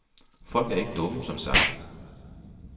Folk er ikke dumme, som sagt.